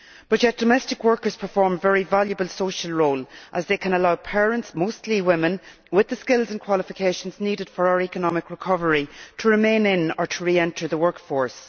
Yet domestic workers perform a very valuable social role as they can allow parents, mostly women, with the skills and qualifications needed for our economic recovery, to remain in or re enter the workforce.